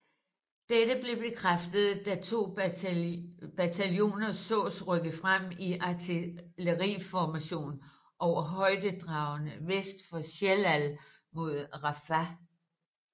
Dette blev bekræftet da to bataljoner sås rykke frem i artilleriformation over højdedragene vest for Shellal mod Rafah